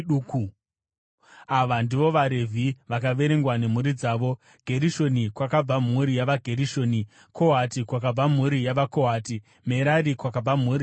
Ava ndivo vaRevhi vakaverengwa nemhuri dzavo: Gerishoni, kwakabva mhuri yavaGerishoni; Kohati, kwakabva mhuri yavaKohati; Merari, kwakabva mhuri yavaMerari.